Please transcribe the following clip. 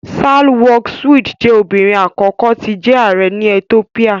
Sahle-Work Zewde jẹ́ obìnrin àkọ́kọ́ tí jẹ ààrẹ́ ní Ethiopia